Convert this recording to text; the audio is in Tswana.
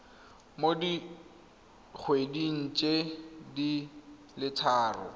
mo dikgweding di le tharo